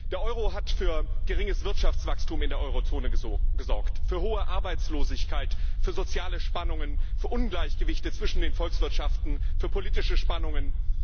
Der Euro hat für geringes Wirtschaftswachstum in der Eurozone gesorgt, für hohe Arbeitslosigkeit, für soziale Spannungen, für Ungleichgewichte zwischen den Volkswirtschaften, für politische Spannungen.